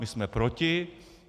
My jsme proti.